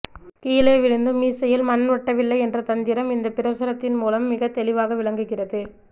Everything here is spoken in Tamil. கீழே விழுந்தும் மீசையில் மண் ஒட்டவில்லை என்ற தந்திரம் இந்த பிரசுரத்தின் மூலம் மிக தெளிவாக விளங்குகிறது